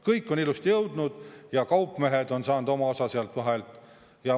Kõik on ilusti jõudnud ja kaupmehed on saanud oma osa sealt vahelt.